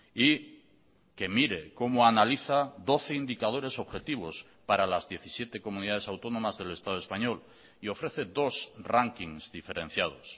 y que mire cómo analiza doce indicadores objetivos para las diecisiete comunidades autónomas del estado español y ofrece dos rankings diferenciados